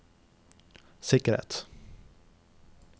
sikkerhet